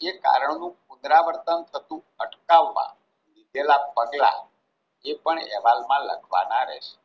જે કારણનું પુનરાવર્તન થતું અટકાવવા લીધેલા પગલાં એ પણ અહેવાલમાં લખવાના રહેશે.